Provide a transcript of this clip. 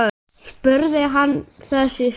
spurði hann þess í stað.